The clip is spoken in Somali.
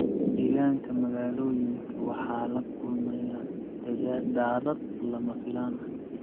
Deegaanka magaalooyinka waxaa la kulmaya daadad lama filaan ah.